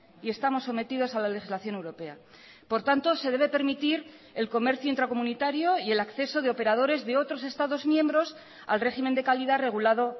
y estamos sometidos a la legislación europea por tanto se debe permitir el comercio intracomunitario y el acceso de operadores de otros estados miembros al régimen de calidad regulado